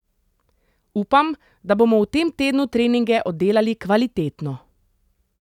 Upam, da bomo v tem tednu treninge oddelali kvalitetno.